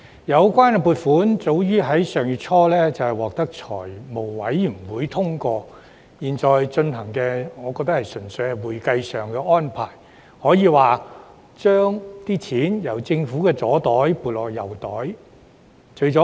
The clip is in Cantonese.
有關撥款早於上月初獲財務委員會通過，我覺得現在討論的擬議決議案純屬會計上的安排，可說是把錢由政府的左邊口袋撥入右邊口袋。